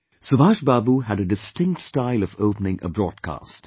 Subhash Babu had a distinct style of opening a broadcast